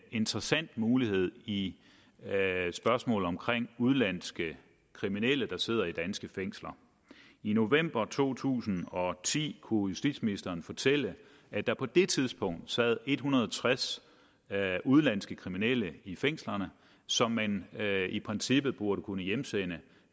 interessant mulighed i spørgsmålet om udenlandske kriminelle der sidder i danske fængsler i november to tusind og ti kunne justitsministeren fortælle at der på det tidspunkt sad en hundrede og tres udenlandske kriminelle i fængslerne som man i princippet burde kunne hjemsende